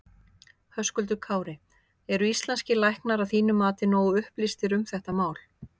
Höskuldur Kári: Eru íslenskir læknar að þínu mati nógu upplýstir um þetta mál?